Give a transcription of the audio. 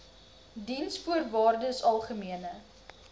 diensvoorwaardesalgemene